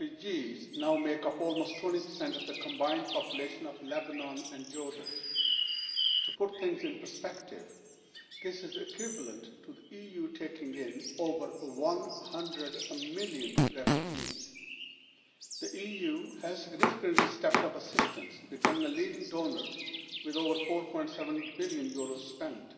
Syrian refugees now make up almost 20 of the combined population of Lebanon and Jordan. To put things in perspective, this is equivalent to the EU taking in over 100 million refugees. The EU has significantly stepped up assistance, becoming the leading donor with over EUR 4.7 billion spent.